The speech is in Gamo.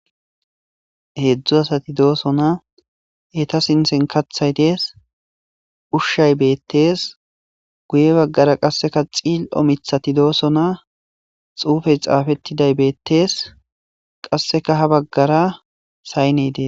Hedzu asati doosona eeta sinthen kaththay dees ushay beetes guye baggara qase cil'o miththati doosona xuufey xaafetiday beetes qaseka ha baggara sayney dees.